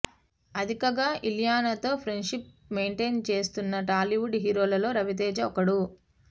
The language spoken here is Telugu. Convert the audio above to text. అదీగాక ఇలియానాతో ఫ్రెండ్ షిప్ మెయిన్ టెయిన్ చేస్తున్న టాలీవుడ్ హీరోల్లో రవితేజ ఒకడు